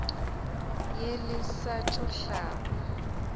ye le sa tšo hlaba